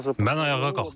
Mən ayağa qalxdım.